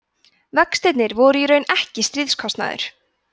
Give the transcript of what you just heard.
vextirnir væru í raun ekki stríðskostnaður